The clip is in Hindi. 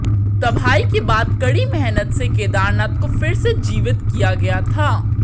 तबाही के बाद कड़ी मेहनत से केदारनाथ को फिर से जीवित किया गया था